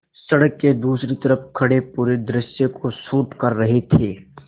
सड़क के दूसरी तरफ़ खड़े पूरे दृश्य को शूट कर रहे थे